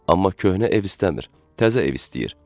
Amma köhnə ev istəmir, təzə ev istəyir.